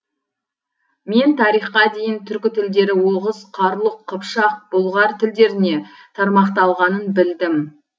мен тарихқа дейін түркі тілдері оғыз қарлұқ қыпшақ бұлғар тілдеріне тармақталғанын білдім